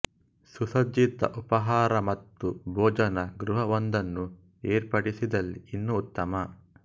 ಸುಸಜ್ಜಿತ ಉಪಹಾರ ಮತ್ತು ಭೋಜನ ಗೃಹವೊಂದನ್ನು ಏರ್ಪಡಿಸಿದಲ್ಲಿ ಇನ್ನೂ ಉತ್ತಮ